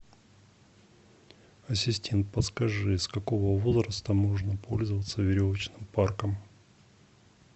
ассистент подскажи с какого возраста можно пользоваться веревочным парком